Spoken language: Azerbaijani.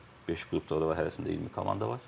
Beş qrupdur orada var, hərəsində 20 komanda var.